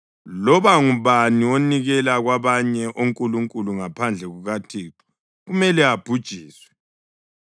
Loba ngubani onikela kwabanye onkulunkulu ngaphandle kukaThixo kumele abhujiswe.